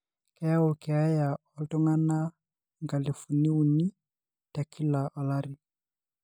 keyaau keeya oltungana inkalifuni uni tekila olari.